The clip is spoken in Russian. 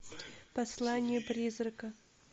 послание призрака